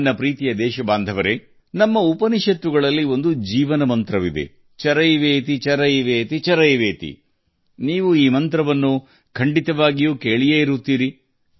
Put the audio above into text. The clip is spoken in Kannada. ನನ್ನ ಪ್ರೀತಿಯ ದೇಶವಾಸಿಗಳೇ ನಮ್ಮ ಉಪನಿಷತ್ತುಗಳು ಜೀವನ ಮಂತ್ರದ ಬಗ್ಗೆ ಉಲ್ಲೇಖಿಸುತ್ತವೆ ಚರೈವೇತಿಚರೈವೇತಿಚರೈವೇತಿ ಈ ಮಂತ್ರವನ್ನು ನೀವೂ ಕೇಳಿರಬಹುದು